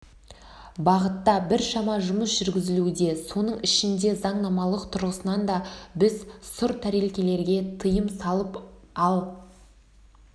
бағытта біршама жұмыс жүргізілуде соның ішінде заңнамалық тұрғысынан да біз сұр тәрелкелерге тыйым салып ал